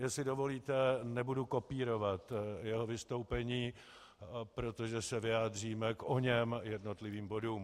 Jestli dovolíte, nebudu kopírovat jeho vystoupení, protože se vyjádříme k oněm jednotlivým bodům.